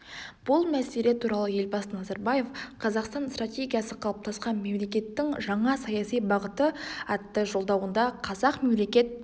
бұл мәселе туралы елбасы назарбаев қазақстан стратегиясы қалыптасқан мемлекеттің жаңа саяси бағыты атты жолдауында қазақ мемлекет